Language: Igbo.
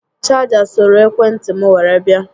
Chaja soro ekwe ntị m were bịa